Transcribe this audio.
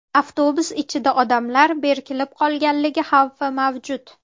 Avtobus ichida odamlar berkilib qolganligi xavfi mavjud.